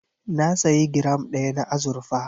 Na sayi giram ɗaya na azurfa.